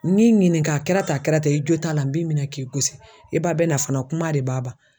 N'i ɲininka a kɛra tan a kɛra tan i jo t'a la n b'i minɛ k'i gosi i ba bɛna fana kuma de b'a ban